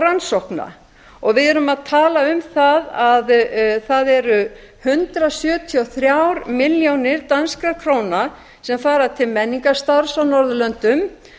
rannsókna við erum að tala um það að það eru hundrað sjötíu og þrjár milljónir danskra króna sem fara til menningarstarfs á norðurlöndum